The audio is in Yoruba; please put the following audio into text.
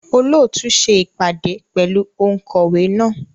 Olóòtú ṣe ìpàdé pẹ̀lú ònkọ̀wé náà.